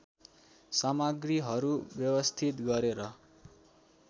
सामग्रीहरू व्यवस्थित गरेर